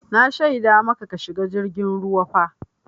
Na shaida maka ka shiga jirgin ruwa fa!